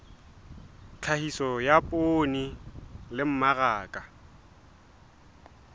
tlhahiso ya poone le mmaraka